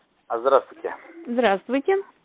а здравствуйте здравствуйте